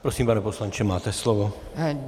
Prosím, pane poslanče, máte slovo.